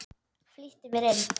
Flýtti mér inn.